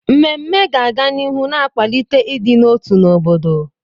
Mmemme ga-aga n'ihu na-akwalite ịdị n'otu n'obodo.